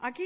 aquí